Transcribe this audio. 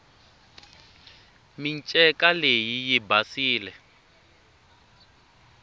minceka leyi yi basile